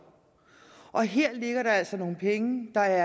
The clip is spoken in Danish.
og her ligger der altså nogle penge der